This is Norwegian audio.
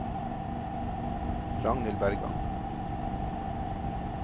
Ragnhild Bergan